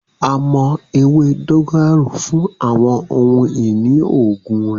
A mọ ewe dogoyaro fun awọn ohun-ini oogun rẹ.